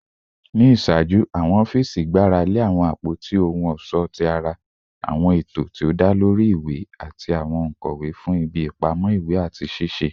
Ni iṣaaju, awọn ọfiisi gbarale awọn apoti ohun ọṣọ ti ara, awọn eto ti o da lori iwe, ati awọn onkọwe fun ibi ipamọ iwe ati sisẹ